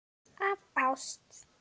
Af ást.